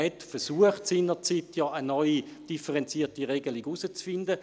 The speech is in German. Man versuchte seinerzeit eine neue, differenzierte Regelung zu finden.